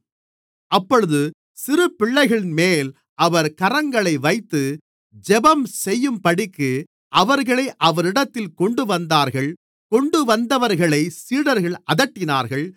அப்பொழுது சிறு பிள்ளைகளின்மேல் அவர் கரங்களை வைத்து ஜெபம்செய்யும்படிக்கு அவர்களை அவரிடத்தில் கொண்டுவந்தார்கள் கொண்டுவந்தவர்களைச் சீடர்கள் அதட்டினார்கள்